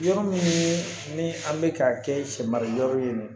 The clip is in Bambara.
Yɔrɔ min ni an bɛ k'a kɛ sɛ mara yɔrɔ ye